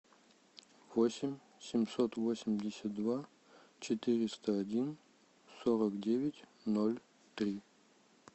восемь семьсот восемьдесят два четыреста один сорок девять ноль три